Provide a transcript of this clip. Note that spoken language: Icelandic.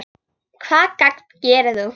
Hvaða gagn gerir þú?